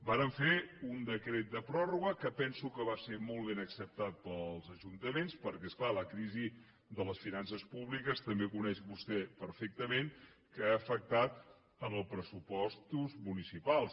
vàrem fer un decret de pròrroga que penso que va ser molt ben acceptat pels ajuntaments perquè és clar la crisi de les finances públiques també ho coneix vostè perfectament ha afectat els pressupostos municipals